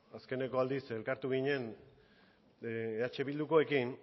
azkeneko aldiz elkartu ginen eh bildukoekin